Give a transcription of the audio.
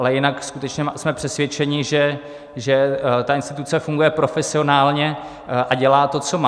Ale jinak skutečně jsme přesvědčeni, že ta instituce funguje profesionálně a dělá to, co má.